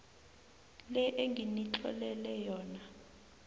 le enginitlolele yona